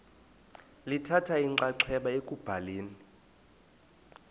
lithatha inxaxheba ekubhaleni